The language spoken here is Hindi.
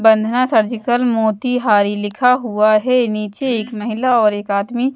बंधना सर्जिकल मोतिहारी लिखा हुआ है नीचे एक महिला और एक आदमी--